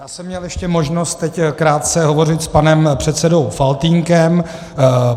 Já jsem měl ještě možnost teď krátce hovořit s panem předsedou Faltýnkem.